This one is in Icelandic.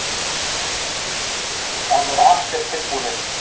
Það voru allir tilbúnir.